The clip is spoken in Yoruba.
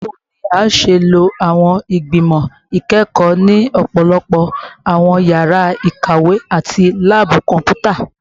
Bawo ni a ṣe lo awọn igbimọ ikẹkọ ni ọpọlọpọ awọn yara ikawe ati laabu kọnputa?